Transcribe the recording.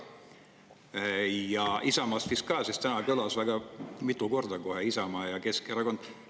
Ja Isamaast vist ka, sest täna kõlas kohe väga mitu korda Isamaa ja Keskerakond.